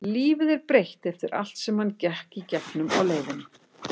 Lífið er breytt eftir allt sem hann gekk í gegnum á leiðinni.